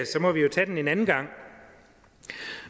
så må vi jo tage den en anden gang